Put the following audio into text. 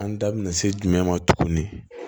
An da bina se jumɛn ma tuguni